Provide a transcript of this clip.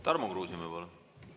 Tarmo Kruusimäe, palun!